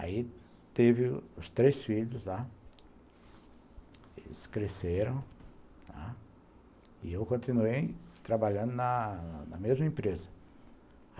Aí teve os três filhos lá, eles cresceram, e eu continuei trabalhando na na mesma empresa.